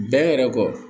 Bɛn yɛrɛ kɔ